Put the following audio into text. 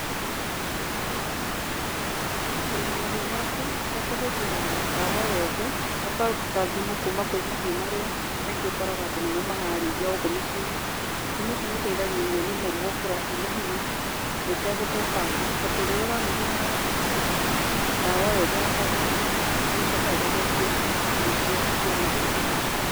Kũrĩma mahiũ maku ũtekũhũthĩra ndawa o yothe, ũkaruta thumu kuma kwĩ mahiũ marĩa kaingĩ ũkoraga andũ nĩmo mararĩithia gũkũ miciĩ-inĩ. Thumu ũcio nĩ ũteithagĩrĩria mĩmera gũkũra ĩna hinya na ĩtegũthũkanga tondũ rĩrĩa ũrahũthĩra ndawa o yothe ya kũgũra, nĩ ĩcokaga ĩgathũkia irio ciaku cia mũgũnda.